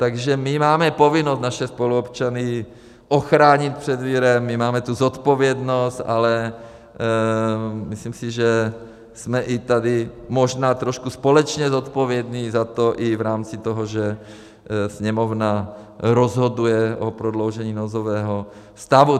Takže my máme povinnost naše spoluobčany ochránit před virem, my máme tu zodpovědnost, ale myslím si, že jsme i tady možná trošku společně zodpovědní za to i v rámci toho, že Sněmovna rozhoduje o prodloužení nouzového stavu.